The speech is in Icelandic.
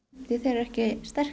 því að þeir eru ekki sterkir